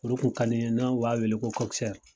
O de tun ka di n ye n'u b'a wele ko .